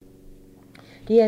DR2